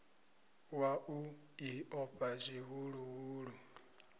wa u ḽi ofha zwihuluhulu